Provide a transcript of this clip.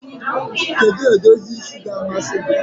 Kedu edozi isi ga-amasị gị?